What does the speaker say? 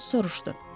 Homs soruşdu.